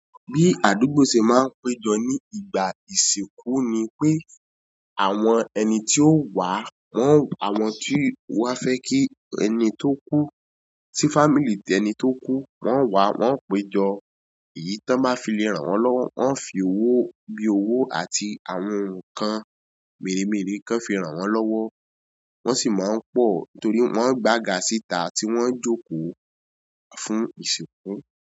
Bí àdúgbò ṣe máa ń péjọ ní ìgbà ìsìnkú ni pé àwọn ẹni tí ó wà, wọ́n àwọn tí wá fẹ́ kí ẹni tó kú, tí family ẹni tó kú, wọ́n wá, wọ́n o péjọ. Èyí tó máa fi lé ràn wọ́n lọ́wọ́, wọ́n ń fi owó bí owó àti àwọn ohun kan mèremère kan fi ràn wọ́n lọ́wọ́. Wọ́n sì máa ń pọ̀ nítorí wọ́n ń gbagà sìtà tí wọ́n jókó fún ìsìnkú.